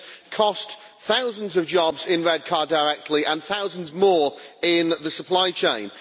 It has cost thousands of jobs in Redcar directly and thousands more in the supply chain.